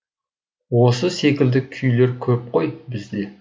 осы секілді күйлер көп қой бізде